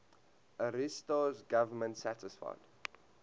ariosto's government satisfied